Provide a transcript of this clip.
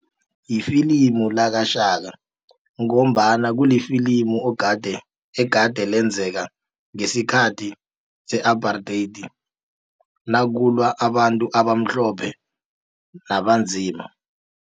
Ifilimu lakaShaka ngombana kulifilimu ogade egade lenzeka ngesikhathi se-apartheid nakulwa abantu abamhlophe nabanzima.